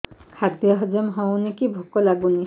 ଖାଦ୍ୟ ହଜମ ହଉନି କି ଭୋକ ଲାଗୁନି